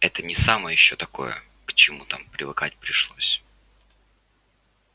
это не самое ещё такое к чему там привыкать пришлось